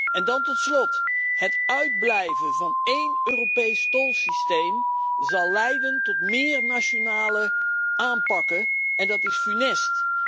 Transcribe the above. En dan tot slot, het uitblijven van één Europees tolsysteem zal leiden tot meer nationale systemen en dat is funest.